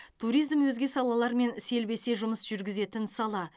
туризм өзге салалармен селбесе жұмыс жүргізетін сала